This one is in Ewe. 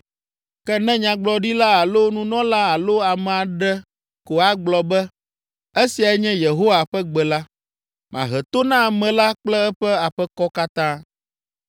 Ke ne nyagblɔɖila alo nunɔla alo ame aɖe ko agblɔ be, ‘Esiae nye Yehowa ƒe gbe’ la, mahe to na ame la kple eƒe aƒekɔ katã.